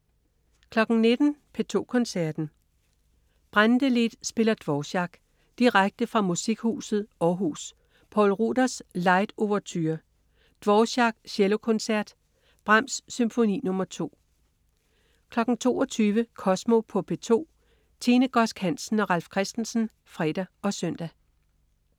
19.00 P2 Koncerten. Brantelid spiller Dvorak. Direkte fra Musikhuset Århus. Poul Ruders: Light Ouverture. Dvorak: Cellokoncert. Brahms: Symfoni nr. 2 22.00 Kosmo på P2. Tine Godsk Hansen og Ralf Christensen (fre og søn)